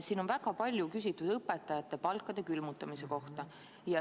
Siin on väga palju küsitud õpetajate palkade külmutamise kohta.